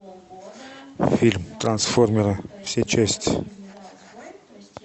фильм трансформеры все части